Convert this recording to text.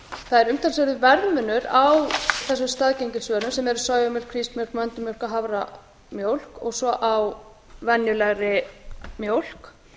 er umtalsverður verðmunur á þessum staðgengilsvörum sem eru sojamjólk hrísmjólk möndlumjólk og haframjólk og svo á venjulegri mjólk